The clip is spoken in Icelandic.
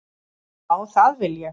Já, það vil ég.